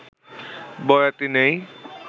বয়াতি নেই